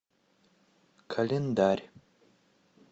календарь